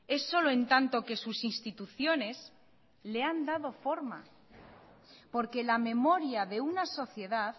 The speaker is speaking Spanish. es solo en tanto que sus instituciones le han dado forma porque la memoria de una sociedad